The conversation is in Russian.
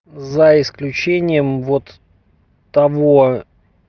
за исключением вот того